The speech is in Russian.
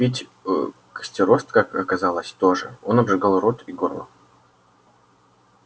пить костерост как оказалось тоже он обжигал рот и горло